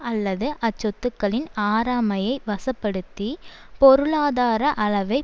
அல்லது அச்சொத்துக்களின் ஆறாமையை வசப்படுத்தி பொருளாதார அளவை